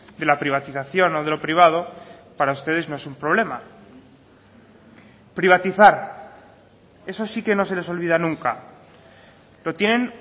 de la privatización o de lo privado para ustedes no es un problema privatizar eso sí que no se les olvida nunca lo tienen